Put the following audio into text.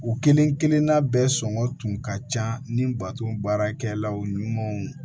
U kelen kelenna bɛɛ sɔngɔ tun ka can ni bato baarakɛlaw ɲumanw